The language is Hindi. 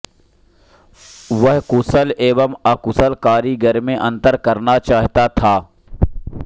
वह कुशल एवं अकुशल कारीगर में अंतर करना चाहता था